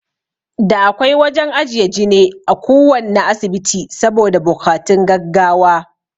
Da akwai wajan ajiye jine a kuwanna asibiti saboda bokatun gaggawa